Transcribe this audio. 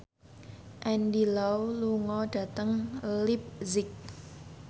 Andy Lau lunga dhateng leipzig